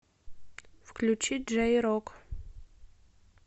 включи джэй рок